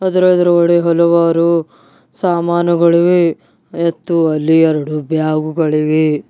ಅದರ ಎದುರುಗಡೆ ಹಲವಾರು ಸಾಮಾನುಗಳಿವೆ ಮತ್ತು ಅಲ್ಲಿ ಎರಡು ಬ್ಯಾಗು ಗಳಿವೆ.